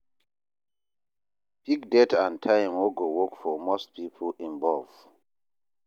Pick date and time wey go work for most people involved